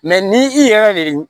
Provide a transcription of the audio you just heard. ni i yɛrɛ de